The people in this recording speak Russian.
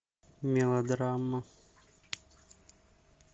мелодрама